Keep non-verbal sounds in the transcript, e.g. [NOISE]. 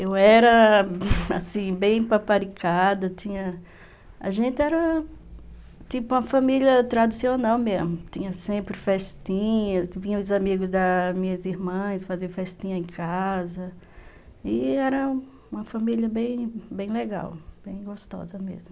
Eu era, [LAUGHS] assim, bem paparicada, a gente era tipo uma família tradicional mesmo, tinha sempre festinhas, vinham os amigos das minhas irmãs fazer festinha em casa, e era uma família bem legal, bem gostosa mesmo.